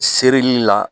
Serili la